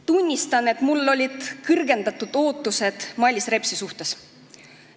Tunnistan, et mul olid suured ootused Mailis Repsi suhtes.